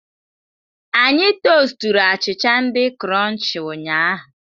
Anyị tosturu achịcha di krọnchii ụnyahụ.